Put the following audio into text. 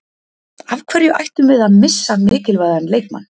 Af hverju ættum við að missa mikilvægan leikmann?